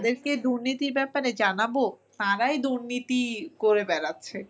যাদেরকে দুর্নীতির ব্যাপারে জানাবো তারাই দুর্নীতি করে বেরাচ্ছে।